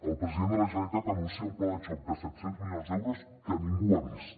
el president de la generalitat anuncia un pla de xoc de set cents milions d’euros que ningú ha vist